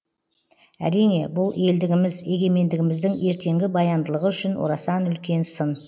әрине бұл елдігіміз егемендігіміздің ертеңгі баяндылығы үшін орасан үлкен сын